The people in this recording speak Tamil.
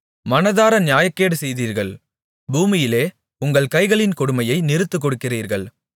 மனதார நியாயக்கேடு செய்கிறீர்கள் பூமியிலே உங்கள் கைகளின் கொடுமையை நிறுத்துக் கொடுக்கிறீர்கள்